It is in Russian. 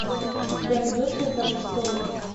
у тебя найдется игра престолов